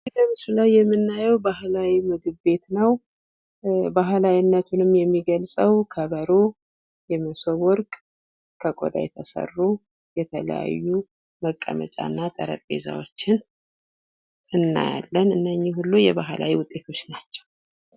ይህ በምስሉ ላይ የምናየው ባህላዊ ምግብ ነው። ባህላዊነቱን የሚገልጸው ከበሮ፣ ሞሰብ ወርቅ፣ ከቆዳ የተሰሩ የተለያዩ መቀመጫ እና ጠረንጴዛዎችን እናያለን እነኝህ ሁሉ የባህላዊ ውጤቶች ናቸው።